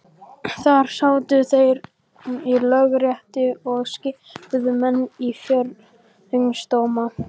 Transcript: Þar sátu þeir í Lögréttu og skipuðu menn í fjórðungsdóma.